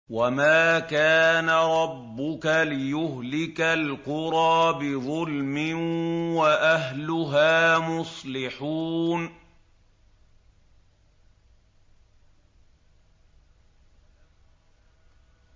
وَمَا كَانَ رَبُّكَ لِيُهْلِكَ الْقُرَىٰ بِظُلْمٍ وَأَهْلُهَا مُصْلِحُونَ